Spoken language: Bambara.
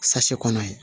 kɔnɔ ye